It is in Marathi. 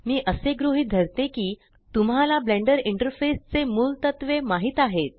मी असे गृहीत धरते की तुम्हाला ब्लेंडर इंटरफेस चे मुलतत्वे माहीत आहेत